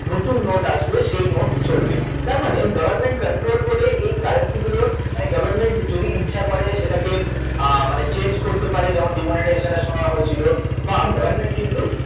নতুন note আসবে সেই note চলবে তার মানে government controlled বলে এই currency গুলোর মানে government যদি ইচ্ছা করে সেটাকে মানে change করতে পারে যেমন demonetization এর সময় হয়েছিল বা government কিন্তু